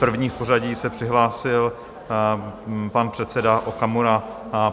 První v pořadí se přihlásil pan předseda Okamura.